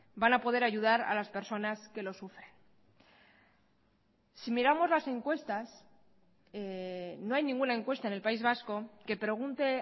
van a poder ayudar a las personas que lo sufren si miramos las encuestas no hay ninguna encuesta en el país vasco que pregunte